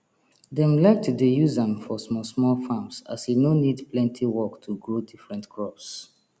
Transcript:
dem like to dey use am for smallsmall farms as e no need plenty work to grow different crops